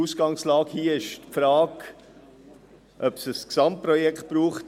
Die Ausgangslage ist die Frage, ob es im ganzen Seeland Moorregion ein Gesamtprojekt braucht.